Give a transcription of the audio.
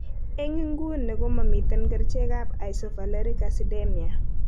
En nguni komamiten kerichek ap isovaleric acidemia